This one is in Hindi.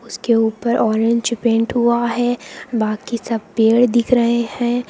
उसके ऊपर ऑरेंज पेंट हुआ है बाकी सब पेड़ दिख रहे हैं।